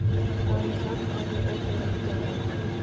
Aníka, hvað er opið lengi á mánudaginn?